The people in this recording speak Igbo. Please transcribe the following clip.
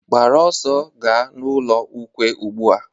Gbara ọsọ ga ọnụ ụlọ ukwe ugbu a!